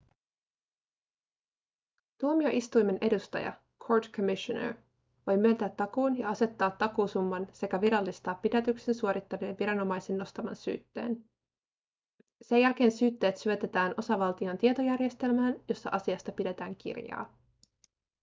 tuomioistuimen edustaja court commissioner voi myöntää takuun ja asettaa takuusumman sekä virallistaa pidätyksen suorittaneen viranomaisen nostaman syytteen. sen jälkeen syytteet syötetään osavaltion tietojärjestelmään jossa asiasta pidetään kirjaa